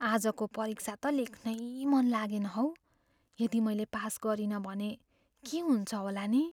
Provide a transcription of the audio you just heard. आजको परीक्षा त लेख्नै मन लागेन हौ। यदि मैले पास गरिनँ भने के हुन्छ होला नि?